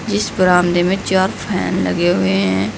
इस बरामदे में चार फैन लगे हुए हैं।